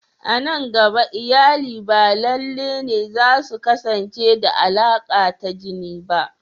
A nan gaba, iyali ba lalle ne za su kasance da alaka ta jini ba.